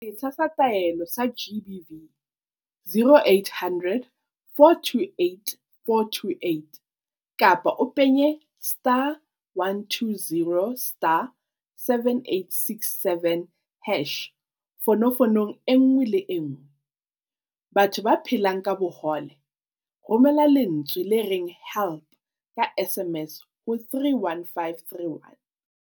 Setsha sa Taelo sa GBV, 0800 428 428 kapa o penye *120*7867# fonofonong e nngwe le e nngwe. Batho ba phelang ka bohole, Romela lentswe le reng 'help' ka SMS ho 31531.